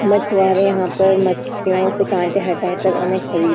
मछिवीरें यहाँ पर मछियों से काँटे हटा कर उसे --